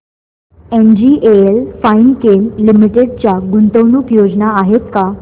NGL Finechem limited च्या गुंतवणूक योजना आहेत का